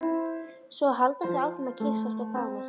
Svo halda þau áfram að kyssast og faðmast.